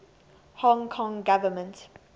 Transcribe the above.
hong kong government